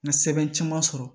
N ka sɛbɛn caman sɔrɔ